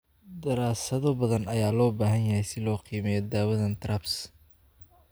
Daraasado badan ayaa loo baahan yahay si loo qiimeeyo daawadaan TRAPS.